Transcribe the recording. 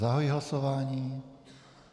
Zahajuji hlasování.